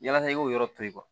Yasa i k'o yɔrɔ to yen